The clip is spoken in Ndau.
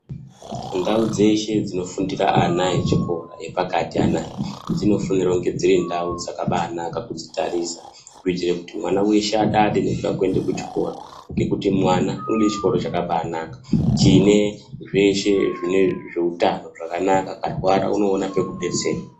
Ndau dzeshe dzinofundira ana echikora epakati anaya, dzinofanire kunge dziri ndau dzakabanaka kudzitarisa kuitire kuti mwana weshe adade nekuda kuenda kuchikora ngekuti mwana unode chikoro chakabanaka chine zveshe zveutano zvakanaka, akarwara unoona pekubetserwa.